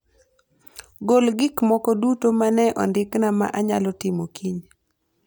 Gol gik moko duto ma ne ondikna ma anyalo timo kiny